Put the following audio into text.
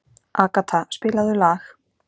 Agata, spilaðu lag.